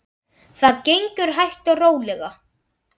Það gengur hægt og rólega.